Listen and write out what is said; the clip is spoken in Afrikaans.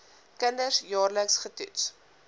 kinders jaarliks getoets